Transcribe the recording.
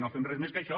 no fem res més que això